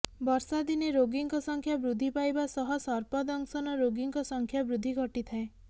ବର୍ଷାଦିନେ ରୋଗୀଙ୍କ ସଂଖ୍ୟା ବୃଦ୍ଧି ପାଇବା ସହ ସର୍ପ ଦଂଶନ ରୋଗୀଙ୍କ ସଂଖ୍ୟା ବୃଦ୍ଧି ଘଟିଥାଏ